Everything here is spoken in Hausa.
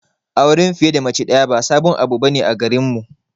Auren fiye da mace daya ba sabon abu bane a garinmu.